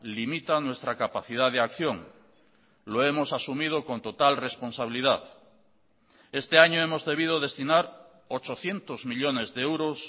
limita nuestra capacidad de acción lo hemos asumido con total responsabilidad este año hemos debido destinar ochocientos millónes de euros